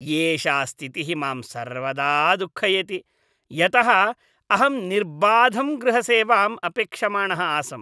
एषा स्थितिः मां सर्वदा दुःखयति, यतः अहं निर्बाधं गृहसेवाम् अपेक्षमाणः आसम्।